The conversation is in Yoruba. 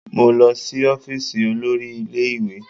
Mo lọ sí ọ́fíìsì olórí ilé ìwé